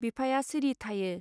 बिफाया सिरि थायो.